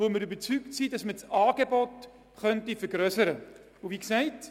Wir sind überzeugt, dass das Angebot vergrössert werden könnte.